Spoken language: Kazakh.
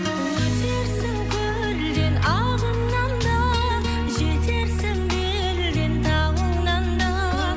өтерсің көлден ағыннан да жетерсің белден тауыңнан да